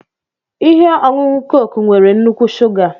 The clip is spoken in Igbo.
Ihe ọṅụṅụ Coke nwere nnukwu shuga